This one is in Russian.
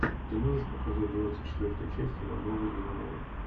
ты можешь показать двадцать четвертую часть ивановы ивановы